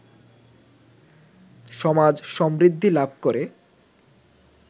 সমাজ সমৃদ্ধি লাভ করে